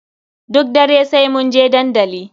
Duk dare sai munje dandali.